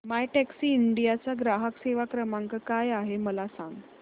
My Taxi India चा ग्राहक सेवा क्रमांक काय आहे मला सांग